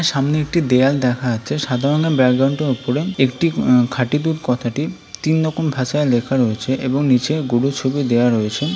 সামনে একটি দেয়াল দেখা যাচ্ছে সাধারণও ব্যাকগ্রাউন্ড উপরে একটি খাঁটি দুধ কথাটি তিন রকম ভাষায় লেখা রয়েছে এবং নিচে গরুর ছবি দেয়া রয়েছে।